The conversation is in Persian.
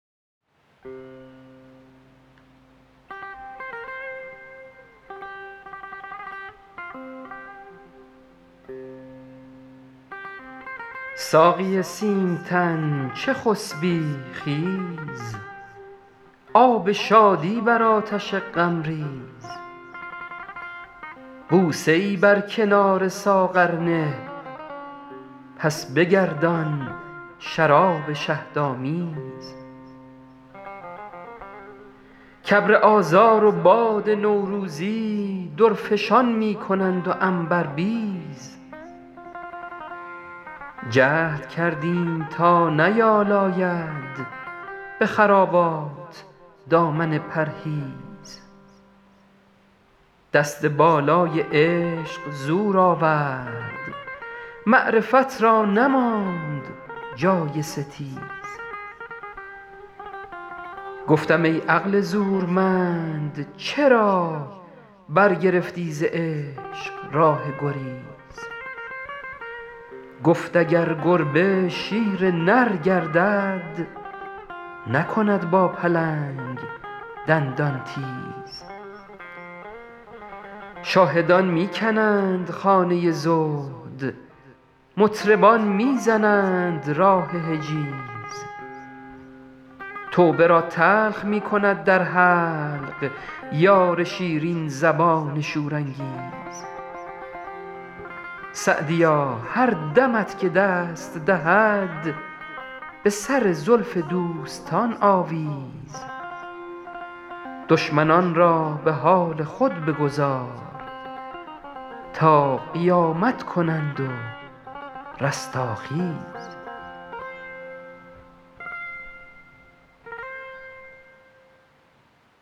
ساقی سیم تن چه خسبی خیز آب شادی بر آتش غم ریز بوسه ای بر کنار ساغر نه پس بگردان شراب شهدآمیز کابر آذار و باد نوروزی درفشان می کنند و عنبربیز جهد کردیم تا نیالاید به خرابات دامن پرهیز دست بالای عشق زور آورد معرفت را نماند جای ستیز گفتم ای عقل زورمند چرا برگرفتی ز عشق راه گریز گفت اگر گربه شیر نر گردد نکند با پلنگ دندان تیز شاهدان می کنند خانه زهد مطربان می زنند راه حجیز توبه را تلخ می کند در حلق یار شیرین زبان شورانگیز سعدیا هر دمت که دست دهد به سر زلف دوستان آویز دشمنان را به حال خود بگذار تا قیامت کنند و رستاخیز